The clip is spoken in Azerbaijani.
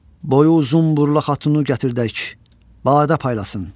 Boyu uzun burla xatunu gətirdək, badə paylasın.